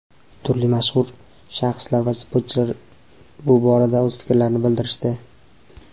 turli mashhur shaxslar va sportchilar bu borada o‘z fikrlarini bildirishdi.